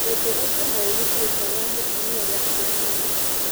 Ũndũ ũcio no ũhutie itua rĩa mũtumia rĩa kũoha nda.